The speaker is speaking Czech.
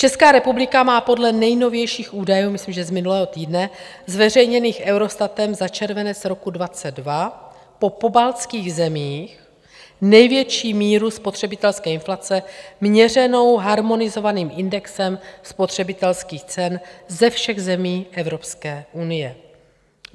Česká republika má podle nejnovějších údajů, myslím, že z minulého týdne, zveřejněných Eurostatem za červenec roku 2022, po pobaltských zemích největší míru spotřebitelské inflace měřenou harmonizovaným indexem spotřebitelských cen ze všech zemí Evropské unie.